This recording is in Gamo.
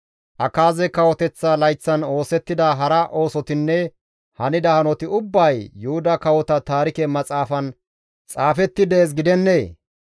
Akaaze kawoteththa layththan oosettida hara oosotinne hanida hanoti ubbay Yuhuda Kawota Taarike Maxaafan xaafetti dees gidennee?